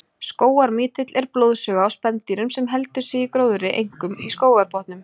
Skógarmítill er blóðsuga á spendýrum sem heldur sig í gróðri, einkum í skógarbotnum.